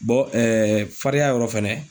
Bɔn ɛɛ farinya yɔrɔ fɛnɛ